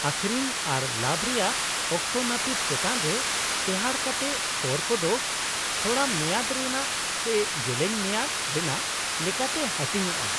-ᱟᱹᱠᱷᱨᱤᱧ ᱟᱨ ᱞᱟᱵᱷ ᱨᱮᱭᱟᱜ ᱚᱠᱛᱚ ᱱᱟᱹᱯᱤᱛ ᱪᱮᱛᱟᱱ ᱨᱮ ᱴᱮᱦᱟᱴ ᱠᱟᱛᱮ ᱠᱚᱨ ᱠᱚᱫᱚ ᱛᱷᱚᱲᱟᱢᱮᱭᱟᱫ ᱨᱮᱱᱟᱜ ᱥᱮ ᱡᱮᱞᱮᱧ ᱢᱮᱭᱟᱫ ᱨᱮᱱᱟᱜ ᱞᱮᱠᱟᱛᱮ ᱦᱟᱹᱴᱤᱧᱚᱜᱼᱟ ᱾